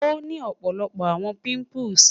o ni ọpọlọpọ awọn pimples